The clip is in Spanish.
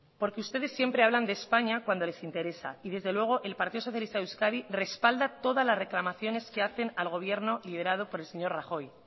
porque ustedes siempre hablan de españa cuando les interesa y desde luego el partido socialista de euskadi respalda todas las reclamaciones que hacen al gobierno liderado por el señor rajoy